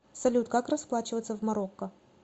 салют как расплачиваться в марокко